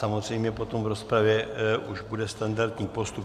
Samozřejmě potom v rozpravě už bude standardní postup.